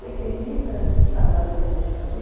pequeninas, trabalho que a gente fazia.